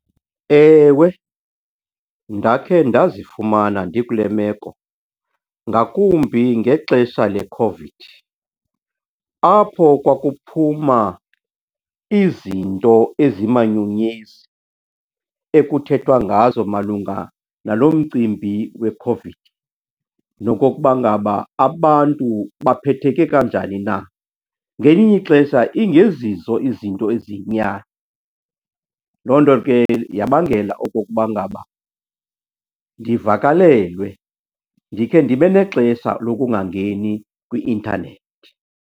Ewe, ndakhe ndazifumana ndikule meko, ngakumbi ngexesha leCOVID apho kwakuphuma izinto ezimanyumnyezi, ekuthethwa ngazo malunga nalo mcimbi weCOVID nokokuba ngaba abantu baphetheke kanjani na. Ngelinye ixesha ingezizo izinto eziyinyani, loo nto ke yabangela okokuba ngaba ndivakalelwe, ndikhe ndibe nexesha lokungangeni kwi-intanethi.